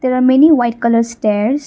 the many white colour stairs.